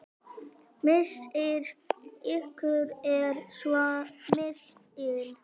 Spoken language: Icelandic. Missir ykkar er svo mikill.